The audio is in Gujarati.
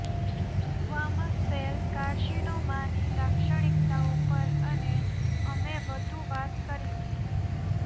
સ્ક્વામસ સેલ કાર્સિનોમાની લાક્ષણિકતાઓ પર અને અમે વધુ વાત કરીશું